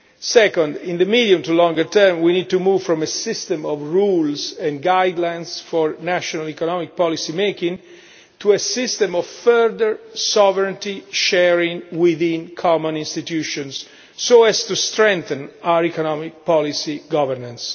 Second, in the medium to longer term, we need to move from a system of rules and guidelines for national economic policy making to a system of further sovereignty sharing within common institutions so as to strengthen our economic policy governance.